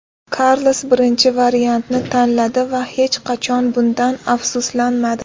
Karlos birinchi varianti tanladi va hech qachon bundan afsuslanmadi.